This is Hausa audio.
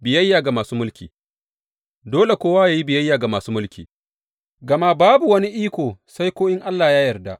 Biyayya ga masu mulki Dole kowa yă yi biyayya ga masu mulki, gama babu wani iko sai ko in Allah ya yarda.